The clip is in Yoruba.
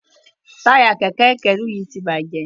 Taya Kẹ̀kẹ́ ìkẹ́rù yí tí bàjé.